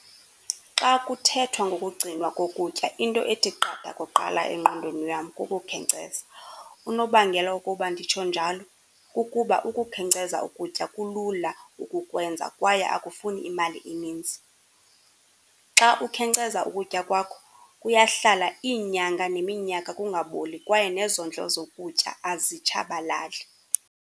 Xa kuthethwa ngokugcinwa kokutya into ethi qatha kuqala engqondweni yam kukukhenkceza, unobangela wokuba nditsho njalo kukuba ukukhenkceza ukutya kulula ukukwenza kwaye akufuni imali eninzi. Xa ukhenkceza ukutya kwakho kuyahlala iinyanga neminyaka kungaboli kwaye nezondlo zokutya azitshabalali.